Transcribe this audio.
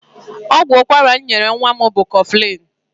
Ọgwụ ụkwara m nyere nwa m bụ koflịn.